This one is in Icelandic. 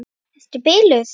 Ertu biluð!